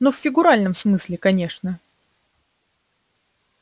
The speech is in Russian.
ну в фигуральном смысле конечно